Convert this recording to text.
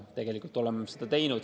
Tegelikult oleme seda teinud.